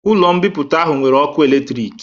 Ụlo mbipụta ahụ nwere ọkụ electrịk